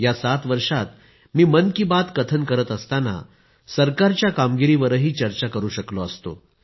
या सात वर्षात मी मन की बात कथन करत असतांना सरकारच्या कामगिरीवरही चर्चा करु शकलो असतो